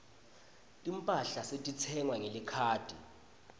timphahla setitsengwa ngelikhadi